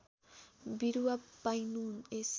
बिरुवा पाइनु यस